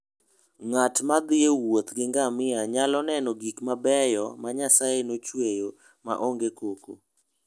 Ng'at ma thi e wuoth gi ngamia nyalo neno gik mabeyo ma Nyasaye nochueyo ma onge koko.